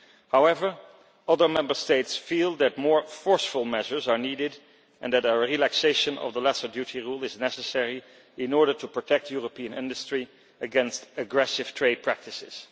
However, other Member States feel that more forceful measures are needed and that a relaxation of the Lesser Duty Rule is necessary in order to protect European industry against aggressive trade practices.